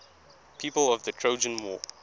people of the trojan war